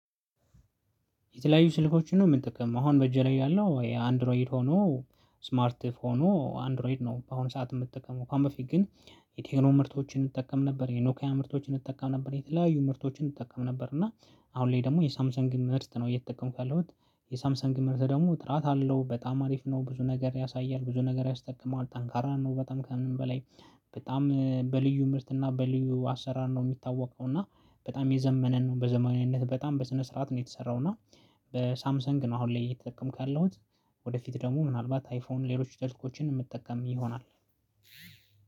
የተለያዩ ስልኮችን ነው ምንጥቅም አሁን በእጄ ላይ ያለው ይሄ አንድሮይድ ሆኖ ስማርት ፎኑ አንድሮይድ ነው። በአሁኑ ሰዓት የምትጠቀመው ከአሁን በፊት ግን። የቴክኖ ምርቶችን እጠቀም ነበር የኖካያ ምርቶችን እንጠቀም ነበር የተለያዩ ምርቶችን እጠቀም ነበር። እና አሁን ላይ ደግሞ የሳምሰንግ ምርት ነው እየተጠቀምኩ ያለሁት የሳምሰንግ ምርት ደግሞ ጥራት አለው በጣም አሪፍ ነው። ብዙ ነገር ያሳያል ብዙ ነገር ያስጠቅማል ጠንካራ ነው በጣም ከምንም በላይ። በጣም በልዩ ምርት እና በልዩ አሰራር ነው የሚታወቀው። እና በጣም የዘመነን ነው በዘመናዊነት በጣም በስነ ስርዓት ነው የተሰራው። እና በሳምሰንግ ነው አሁን ላይ የተጠቀምኩ ያለሁት። ወደፊት ደግሞ ምናልባት አይፎን ሌሎች ስልኮችን የምጠቀም ይሆናል።